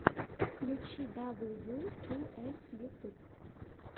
включи дабл ю ту эс ютьюб